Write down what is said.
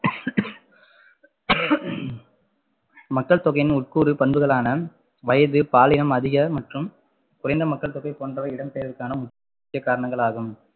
மக்கள் தொகையின் உட்கூறு பண்புகளான வயது, பாலினம், அதிக மற்றும் குறைந்த மக்கள் தொகை போன்றவை இடம்பெயர்வுக்கான முக்கிய காரணங்களாகும்